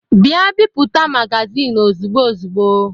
Ngwa bipụta magazin ozigbo ozigbo!